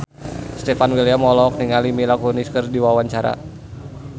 Stefan William olohok ningali Mila Kunis keur diwawancara